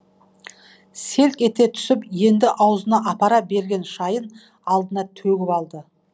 селк ете түсіп енді аузына апара берген шайын алдына төгіп алды